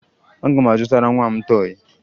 Aga m azụtara nwa m tọọyị